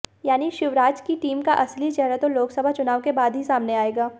यानी शिवराज की टीम का असली चेहरा तो लोकसभा चुनाव के बाद ही सामने आएगा